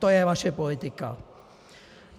To je vaše politika!